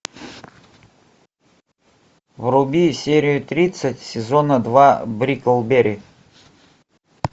вруби серию тридцать сезона два бриклберри